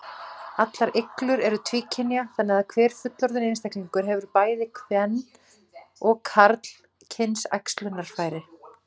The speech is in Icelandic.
Allar iglur eru tvíkynja, þannig að hver fullorðinn einstaklingur hefur bæði karl- og kvenkyns æxlunarfæri.